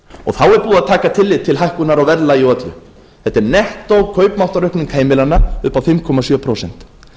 að taka tillit til hækkunar á verðlagi og öllu þetta er nettó kaupmáttaraukning heimilanna upp á fimm komma sjö prósent